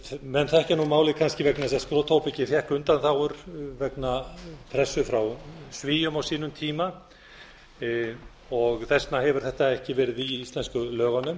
menn þekkja nú málið vegna þess að skrotóbakið fékk undanþágur vegna pressu frá svíum á sínum tíma þess vegna hefur þetta ekki verið í íslensku lögunum